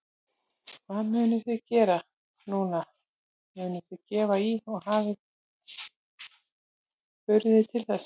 Hvað munuð þið gera núna, munuð þið gefa í og hafið þið burði til þess?